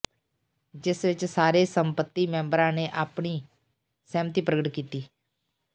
ਜਿਸ ਵਿੱਚ ਸਾਰੇ ਸੰਮਤੀ ਮੈਬਰਾਂ ਨੇ ਅਪਣੀ ਸਹਿਮਤੀ ਪ੍ਰਗਟ ਕੀਤੀ